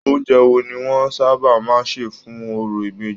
Oúnjẹ wo ni wọn sábà máa n ṣe fún òrò ìbejì?